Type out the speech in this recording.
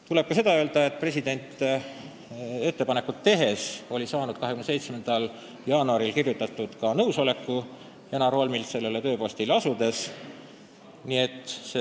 Tuleb ka seda öelda, et president oli oma ettepanekut tehes saanud Janar Holmilt 27. jaanuaril kirjutatud nõusoleku sellele tööpostile asumiseks.